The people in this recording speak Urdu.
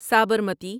سابرمتی